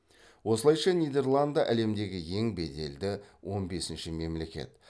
осылайша нидерланды әлемдегі ең беделді он бесінші мемлекет